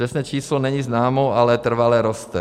Přesné číslo není známo, ale trvale roste.